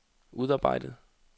udarbejdet